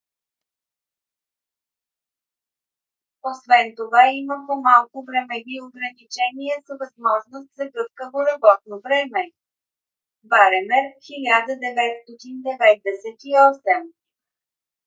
освен това има по - малко времеви ограничения с възможност за гъвкаво работно време. bremer 1998